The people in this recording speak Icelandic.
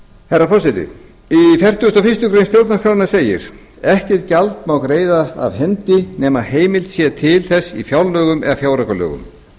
herra forseti í fertugustu og fyrstu grein stjórnarskrárinnar segir ekkert gjald má greiða af hendi nema heimild sé til þess í fjárlögum eða fjáraukalögum